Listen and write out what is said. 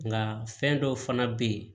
Nga fɛn dɔw fana be ye